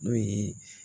N'o ye